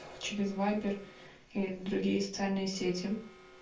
через вайбер или другие социальные сети